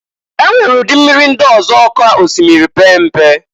E nwere ụdị mmiri ndị ọzọ ka osimiri pee mpe.